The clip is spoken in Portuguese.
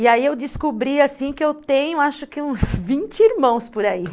E aí eu descobri, assim, que eu tenho acho que uns vinte irmãos por aí.